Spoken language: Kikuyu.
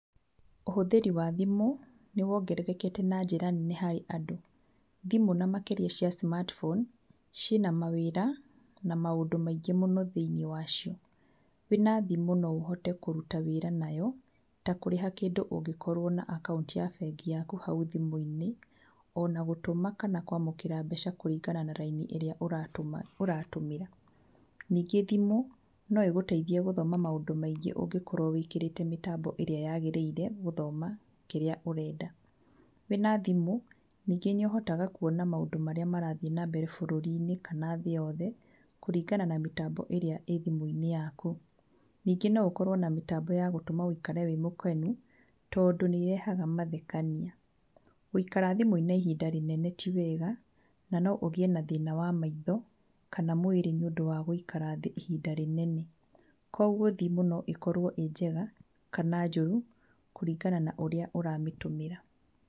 Ũhũthĩri wa thimũ nĩ wongerereke na njĩra nene harĩ andũ, thimũ na makĩria cia smartphone ci na mawĩra na maũndũ maingĩ mũno thĩiniĩ wacio. Wĩna thimũ no ũhote kũruta wĩra nayo, ta kũrĩha kĩndũ ũngĩkorwo na akaunti ya bengi yaku hau thimũ-inĩ o na gũtũma kana kwamũkĩra mbeca kũringana na raini ĩrĩa ũratũmĩra, ningĩ thimũ no ĩgũteithie gũthoma maũndũ maingĩ ũngĩkorwo wĩkĩrĩte mĩtambo ĩrĩa yagĩrĩire gũthoma kĩrĩa ũrenda, wĩna thimũ ningĩ nĩ ũhotaga kuona maũndũ marĩa marathiĩ na mbere bũrũri-inĩ kana thĩ yothe kũrĩngana na mĩtambo ĩrĩa ĩ thimũ-inĩ yaku. Ningĩ no ũkorwo na mĩtambo yagũtũma wĩikare wĩ mũkenu tondũ nĩĩrehaga mathekania. Gũikara thimũ-inĩ ihinda inene ti wega, na no ũgĩe na thina wa maitho kana mwĩrĩ nĩũndũ wa gũikara thĩ ihinda rĩnene, kwoguo thimũ no ĩkorwo ĩ njega kana njũru kũringana na ũrĩa ũramĩtũmĩra.